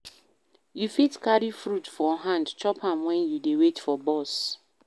You fit carry fruit for hand, chop am wen you dey wait for bus.